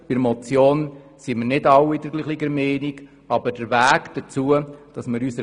Bei der Motion sind nicht alle gleicher Meinung.